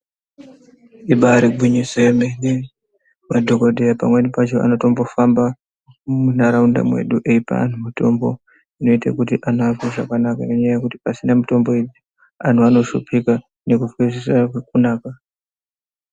Ibairi ngwinyiso yemene madhokoteya pamweni pacho anotombo famba mundaraunda medu eipa antu mutombo inoite kuti antu anzwe zvakanaka nenyaya yekuti pasina mitombo iyi antu ano shupika nekunzwa zvisina kunaka.